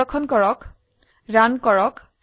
সংৰক্ষণ কৰে ৰান কৰক